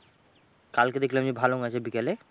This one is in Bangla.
কালকে দেখলাম যে ভালো আছে বিকালে?